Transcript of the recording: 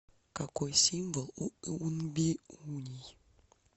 какой символ у унбиуний